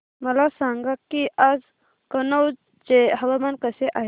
मला सांगा की आज कनौज चे हवामान कसे आहे